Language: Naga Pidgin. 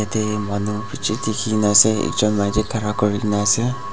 ete manu dikhi ne ase ekjon la khara kuri ne ase.